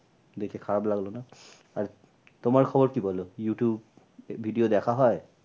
দেখে খারাপ লাগলো না আর তোমার খবর কি বলো youtube video দেখা হয়?